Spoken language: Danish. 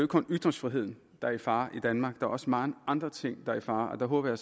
kun ytringsfriheden der er i fare i danmark der er også mange andre ting er i fare og der håber